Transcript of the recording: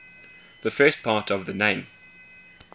the first part of the name